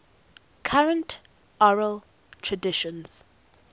current oral traditions